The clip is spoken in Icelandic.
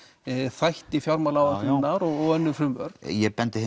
þætti fjármálaáætlunarinnar og önnur frumvörp ég bendi